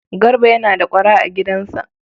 Garba yana da ƙwara a gidansa?